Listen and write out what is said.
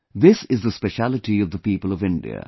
This is the specialty of the people of India